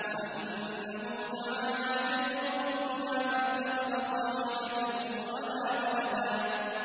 وَأَنَّهُ تَعَالَىٰ جَدُّ رَبِّنَا مَا اتَّخَذَ صَاحِبَةً وَلَا وَلَدًا